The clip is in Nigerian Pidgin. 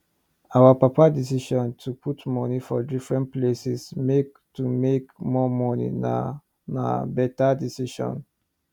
our papa decision to put money for different places make to make more money na na better decision